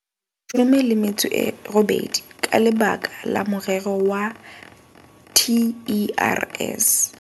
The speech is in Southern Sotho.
18 ka lebaka la morero wa TERS.